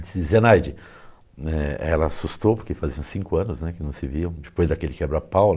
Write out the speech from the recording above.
Dizia, Zenaide, eh, ela assustou porque faziam cinco anos né, que não se via, depois daquele quebra pau.